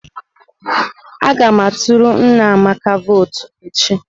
Aga m aturu nna Amaka votu echi.